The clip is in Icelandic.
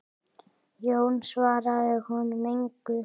Jón svaraði honum engu.